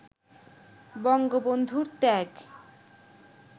বঙ্গবন্ধুর ত্যাগ